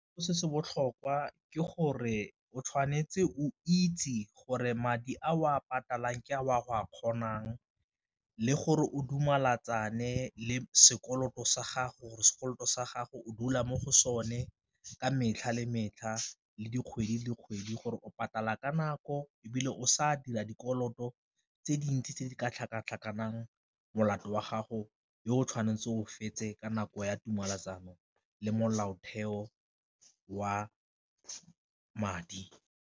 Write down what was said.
Se se botlhokwa ke gore o tshwanetse o itse gore madi a o a ke a o a go a kgonang le gore o le sekoloto sa gago gore sekoloto sa gago o dula mo go sone ka metlha le metlha le dikgwedi le kgwedi gore o patala ka nako, ebile o sa dira dikoloto tse dintsi tse di ka tlhakatlhakanang molato wa gago yo o tshwanetse o fetse ka nako ya tumalano le molaotheo wa madi.